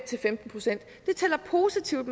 til femten procent det tæller positivt